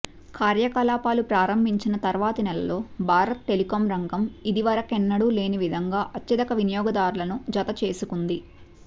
కార్యకలాపాలు ప్రారంభించిన తర్వాతి నెలలో భారత టెలికాం రంగం ఇది వరకెన్నడూ లేని విధంగా అత్యధిక వినియోగదార్లను జత చేసుకుంది